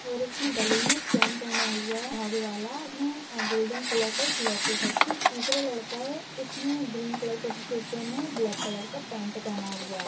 और इसने गले मे एक चैन पहना हुआ हैं धागे वाला और उसने गोल्डन कलर का लोकैट हैं पीछे एक दूसरा लड़का हैं इसने ग्रीन कलर का टी शर्ट पहना हैं ब्लैक कलर का पैंट पहना हुआ है।